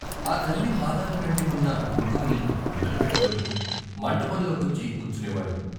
ఆ తల్లి పాదాలనంటి వున్న కుంకుమని నుదుట పెట్టుకుని మంటపంలో కొచ్చి కూర్చునేవాడు.